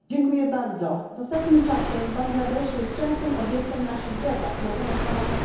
W ostatnim czasie Bangladesz jest częstym obiektem naszych debat na temat łamania praw człowieka.